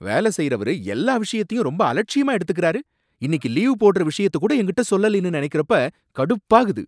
வேலை செய்யறவரு, எல்லா விஷயத்தையும் ரொம்ப அலட்சியமா எடுத்துக்குறாரு, இன்னிக்கு லீவு போடுற விஷயத்தை கூட என்கிட்ட சொல்லலைன்னு நினைக்கிறப்ப கடுப்பாகுது.